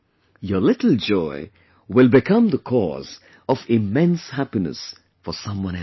Your little joy will become the cause of immense happiness for someone else's family